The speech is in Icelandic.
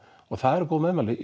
það eru góð meðmæli